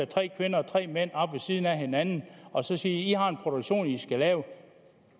tre kvinder og tre mænd op ved siden af hinanden og så sige i har en produktion i i skal lave